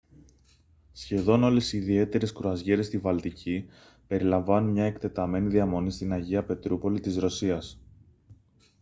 σχεδόν όλες οι ιδιαίτερες κρουαζιέρες στη βαλτική περιλαμβάνουν μια εκτεταμένη διαμονή στην αγία πετρούπολη της ρωσίας